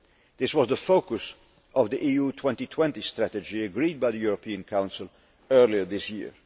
This was the focus of the EU 2020 strategy agreed by the European Council earlier this year.